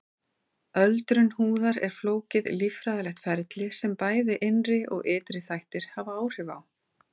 Öldrun húðar er flókið líffræðilegt ferli sem bæði innri og ytri þættir hafa áhrif á.